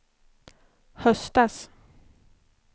höstas